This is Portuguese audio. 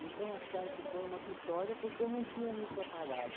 Então, acharam que foi uma vitória porque eu não tinha me preparado.